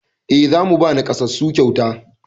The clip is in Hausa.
E, za mu ba naƙasassu kyauta.